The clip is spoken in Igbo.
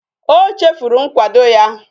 O chefuru nkwado ya